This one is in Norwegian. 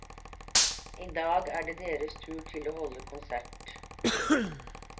I dag er det deres tur til å holde konsert.